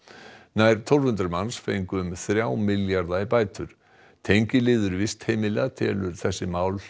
nær tólf hundruð manns fengu um þrjá milljarða í bætur tengiliður vistheimila telur vistheimilamálin þessi mál